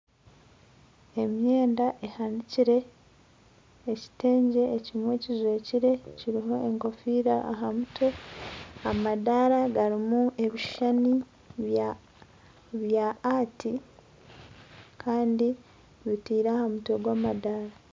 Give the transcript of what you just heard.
Emyenda ehanikire ekitengye ekimwe kijwekire kiriho enkofiira aha mutwe amadaara garimu ebishushani bya ati Kandi bitairwe aha mutwe gw'amadaara